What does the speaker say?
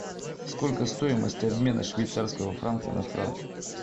сколько стоимость обмена швейцарского франка на франк